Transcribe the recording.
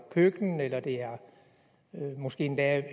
køkken eller det måske endda